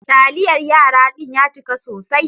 Taliyar yara din ya cika sosai.